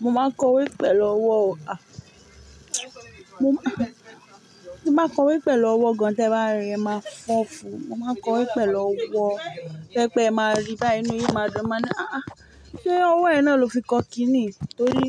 Mo máa kọwé pẹ̀lú ọwọ́ o. A Mo máa, a, mo máa kọwé pẹ̀lú ọwọ́ gan, tẹ bá rí e máa fọ́ fún. Mo máa kọwé pẹ̀lú ọwọ́, to yẹ́ pẹ́ ẹ máa rí báyii enú yin maa re, e máa ni àá, sé ọwọ́ náa lọ ti kọ ki niyi? Torí